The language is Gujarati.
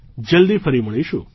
જલ્દી ફરી મળીશું